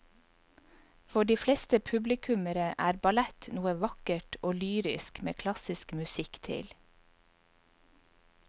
For de fleste publikummere er ballett noe vakkert og lyrisk med klassisk musikk til.